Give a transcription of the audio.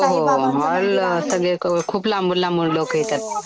हो ऑल सगळे खूप लांबून लांबून लोकं येतात.